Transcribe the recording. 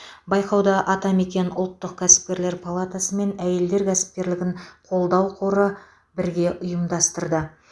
байқауды атамекен ұлттық кәсіпкерлер палатасы мен әйелдер кәсіпкерлігін қолдау қоры бірге ұйымдастырды